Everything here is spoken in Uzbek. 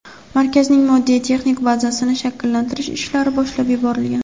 markazning moddiy texnik bazasini shakllantirish ishlari boshlab yuborilgan.